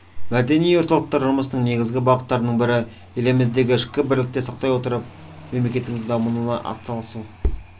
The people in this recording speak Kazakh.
мәдени орталықтар жұмысының негізгі бағыттарының бірі еліміздегі ішкі бірлікті сақтай отыра мемлекетіміздің дамуына атсалысу